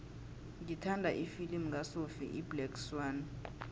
ngithanda ifilimu kasophie iblack swann